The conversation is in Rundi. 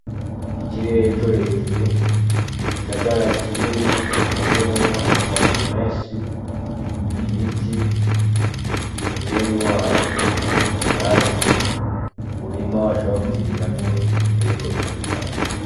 Ikirehe co hejuru igisagara kinini suzuyemwo amazu menshi ibiti umusenyi wo hasi ivyatsi umurima washaba kwimiramwo ibitero bitandukanye.